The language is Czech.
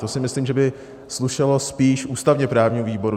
To si myslím, že by slušelo spíš ústavně-právnímu výboru.